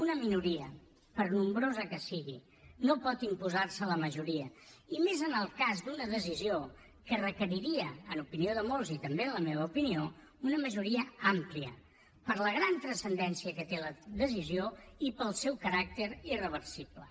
una minoria per nombrosa que sigui no pot imposar se a la majoria i més en el cas d’una decisió que requeriria en opinió de molts i també en la meva opinió una majoria àmplia per la gran transcendència que té la decisió i pel seu caràcter irreversible